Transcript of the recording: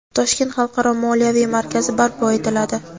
Toshkent xalqaro moliyaviy markazi barpo etiladi.